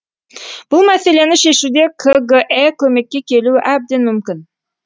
бұл мәселені шешуде кгэ көмекке келуі әбден мүмкін